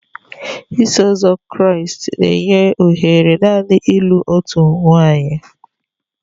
Iso Ụzọ Kraịst na-enye ohere naanị ịlụ otu nwanyị.